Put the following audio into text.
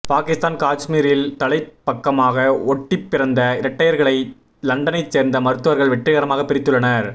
பாகிஸ்தான் காஷ்மீரில் தலைப் பக்கமாக ஒட்டிப் பிறந்த இரட்டையர்களை லண்டனை சேர்ந்த மருத்துவர்கள் வெற்றிகரமாக பிரித்துள்ளனர்